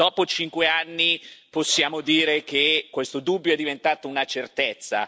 Dopo cinque anni possiamo dire che questo dubbio è diventato una certezza.